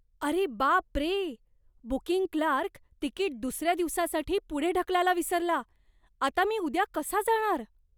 अरे बाप रे! बुकींग क्लार्क तिकीट दुसऱ्या दिवसासाठी पुढे ढकलायला विसरला. आता मी उद्या कसा जाणार?